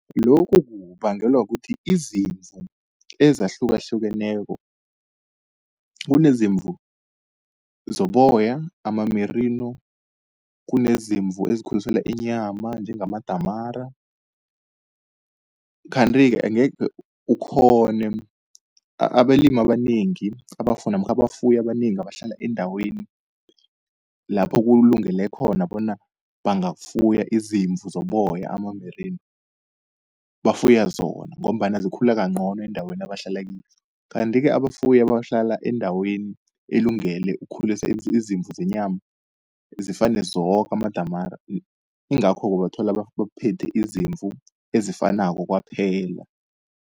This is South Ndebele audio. Lokhu kubangelwa kukuthi izimvu ezahlukahlukeneko, kunezimvu zoboya ama-merino, kunezimvu ezikhuliselwa inyama njengamadamara. Kanti-ke angekhe ukghone abalimi abanengi namkha abafuyi abanengi abahlala eendaweni lapho kulungele khona bona bangafuya izimvu zoboya ama-merino bafuya zona, ngombana zikhula kancono eendaweni abahlala kizo. Kanti-ke abafuyi abahlala endaweni elungele ukukhulisa izimvu zenyama zifane zoke, amadamara ingakho-ke ubathola baphethe izimvu ezifanako kwaphela.